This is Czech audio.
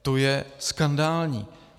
To je skandální!